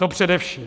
To především.